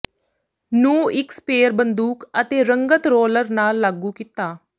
ਨੂੰ ਇੱਕ ਸਪਰੇਅ ਬੰਦੂਕ ਅਤੇ ਰੰਗਤ ਰੋਲਰ ਨਾਲ ਲਾਗੂ ਕੀਤਾ